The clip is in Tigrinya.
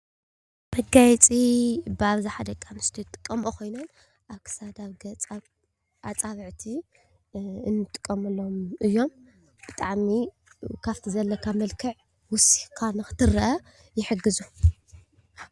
መጋየፂ ብኣብዛሓ ደቂ ኣንስትዮ ዝጥቀመኦ ኮይኑ ኣብ ክሳድ ፣ኣብ ገፅ፣ ኣብ ኣፃብዕቲ እንጥቀመሉም እዮም። ብጣዕሚ ካብቲ ዘለካ መልክዕ ወሲካ ንኽትረአ ይሕግዙ።